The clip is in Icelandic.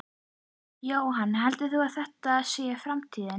Jóhann: Heldurðu að þetta sé framtíðin?